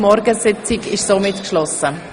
Die Morgensitzung ist damit geschlossen.